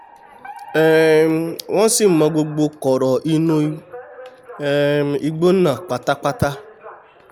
um wọ́n sì mọ gbogbo kọ̀ọ̀rọ̀ inú um igbó náà pátápátá